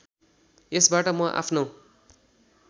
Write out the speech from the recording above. यसबाट म आफ्नो